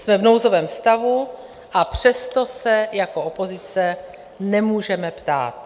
Jsme v nouzovém stavu, a přesto se jako opozice nemůžeme ptát.